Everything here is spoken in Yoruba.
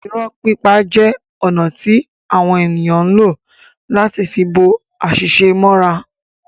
Irọ́ pipa jẹ ọ̀nà ti awọn eniyn ǹ lo láti fi bo àṣìṣe mọ́ra